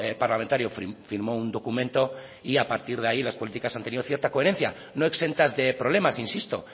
parlamentario firmó un documento y a partir de ahí las políticas han tenido cierta coherencia no exentas de problemas insisto